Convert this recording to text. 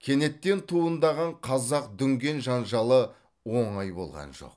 кенеттен туындаған қазақ дүнген жанжалы оңай болған жоқ